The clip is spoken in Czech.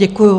Děkuju.